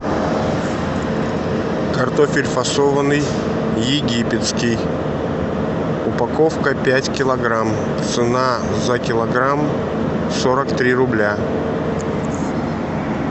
картофель фасованный египетский упаковка пять килограмм цена за килограмм сорок три рубля